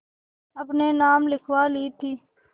अपने नाम लिखवा ली थी